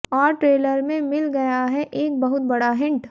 और ट्रेलर में मिल गया है एक बहुत बड़ा हिंट